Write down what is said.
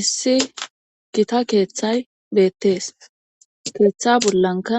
issi gita keeththay beettees keeththa bollanka